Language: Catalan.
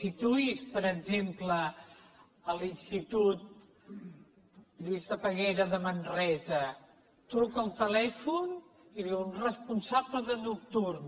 situï’s per exemple a l’institut lluís de peguera de man resa truca el telèfon i diuen responsable de nocturn